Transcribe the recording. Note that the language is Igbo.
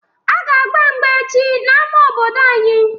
A ga agba mgba echi n'ámá obodo anyị